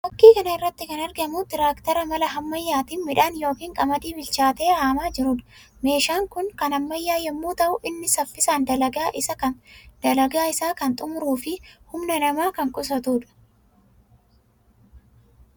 Fakkii kana irraatti kan argamu tiraaktera mala ammayyaatiin miidhaan yookiin qamadii bilchaatee haamaa jiruu dha. Meeshaan kunis kan ammayyaa yammuu ta'u; innis saffisaan dalagaa isaa kan xumuruu fi humna nama kan qusatuu dha.